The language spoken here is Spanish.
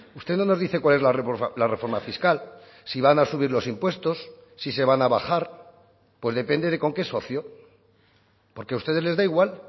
usted no nos dice cuál es la reforma fiscal si van a subir los impuestos si se van a bajar pues depende de con qué socio porque a ustedes les da igual